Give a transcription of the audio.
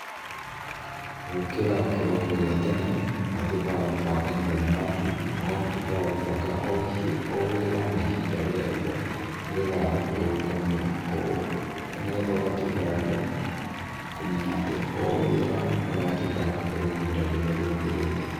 Gũkĩra kĩroko gĩa tene, ũgatuĩka wa gũbanga mũthenya waku, na ũgatuĩka wa gũbanga, o wĩra na ihinda rĩaguo, nĩgetha, nĩgetha ũgatuĩka wa kũmenya ati o wĩra nĩũratuĩka wa kũheo ihinda rĩrĩa rĩagĩrĩire.